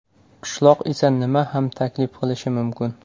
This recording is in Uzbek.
Qishloq esa nima ham taklif qilishi mumkin?